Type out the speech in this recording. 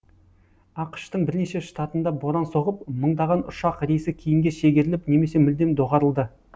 ақш тың бірнеше штатында боран соғып мыңдаған ұшақ рейсі кейінге шегеріліп немесе мүлдем доғарылды